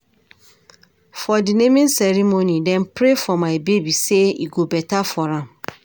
For di naming ceremony, dem pray for my baby sey e go beta for am.